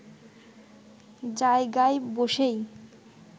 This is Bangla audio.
জায়গায় বসেই